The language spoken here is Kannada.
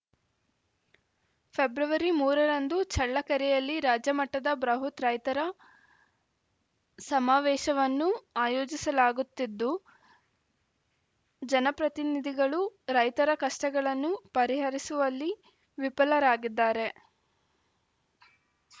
ಫೆಬ್ರವರಿ ಮೂರ ರಂದು ಚಳ್ಳಕೆರೆಯಲ್ಲಿ ರಾಜ್ಯಮಟ್ಟದ ಬ್ರಹುತ್‌ ರೈತರ ಸಮಾವೇಶವನ್ನು ಆಯೋಜಿಸಲಾಗುತ್ತಿದ್ದು ಜನಪ್ರತಿನಿಧಿಗಳು ರೈತರ ಕಷ್ಟಗಳನ್ನು ಪರಿಹರಿಸುವಲ್ಲಿ ವಿಫಲರಾಗಿದ್ದಾರೆ